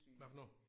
Hvad for noget?